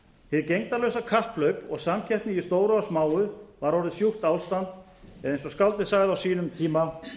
glöggt fram hið gegndarlausa kapphlaup og samkeppni í stóru og smáu var orðið sjúkt ástand eða eins og skáldið sagði á sínum tíma